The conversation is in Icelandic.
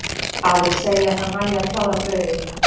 Aðrir segja að það nægi að klára brauðið.